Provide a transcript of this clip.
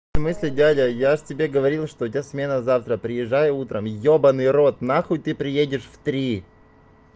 в смысле дядя я же тебе говорил что у тебя смена завтра приезжай утром ёбаный рот нахуй ты приедешь в три